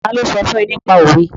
Ta ló sọ fún ẹ nípa òwe?